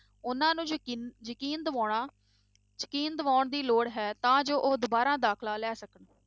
ਉਹਨਾਂ ਨੂੰ ਯਕੀਨ ਯਕੀਨ ਦਿਵਾਉਣਾ ਯਕੀਨ ਦਿਵਾਉਣ ਦੀ ਲੋੜ ਹੈ ਤਾਂ ਜੋ ਉਹ ਦੁਬਾਰਾ ਦਾਖਲਾ ਲੈ ਸਕਣ